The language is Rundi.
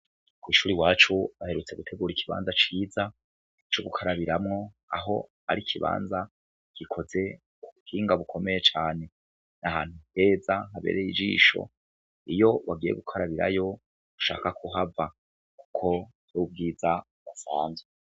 kw’ishuri iwacu baherutse gutegura ikibanza ciza cyo gukarabiramwo aho ari ikibanza gikoze mu buhinga bukomeye cyane n'ahantu heza habereye ijisho iyo wagiye gukarabirayo ntushaka kuhava kuko ubwiza uhasanze